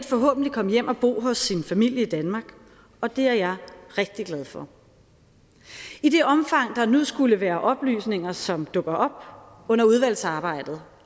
forhåbentlig komme hjem og bo hos sin familie i danmark og det er jeg rigtig glad for i det omfang der nu skulle være oplysninger som dukker op under udvalgsarbejdet